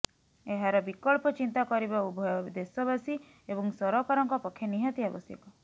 ଏହାର ବିକଳ୍ପ ଚିନ୍ତା କରିବା ଉଭୟ ଦେଶବାସୀ ଏବଂ ସରକାରଙ୍କ ପକ୍ଷେ ନିହାତି ଆବଶ୍ୟକ